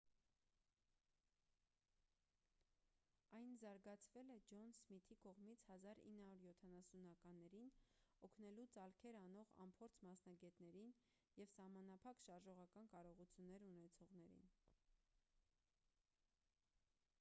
այն զարգացվել է ջոն սմիթի կողմից 1970-ականներին օգնելու ծալքեր անող անփորձ մասնագետներին և սահմանափակ շարժողական կարողություններ ունեցողներին